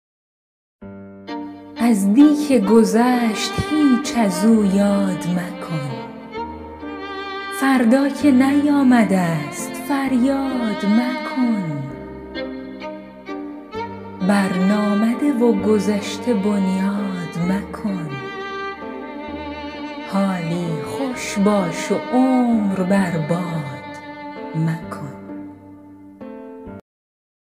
از دی که گذشت هیچ از او یاد مکن فردا که نیامده ست فریاد مکن بر نامده و گذشته بنیاد مکن حالی خوش باش و عمر بر باد مکن